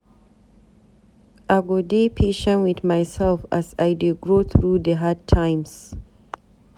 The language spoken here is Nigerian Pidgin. I go dey patient wit mysef as I dey grow through the hard times.